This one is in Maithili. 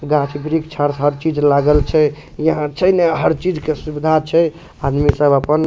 गाछ-वृक्ष और हर चीज़ लागल छे यहाँ छई ना हर चीज़ के सुविधा छे आदमी सब अपन --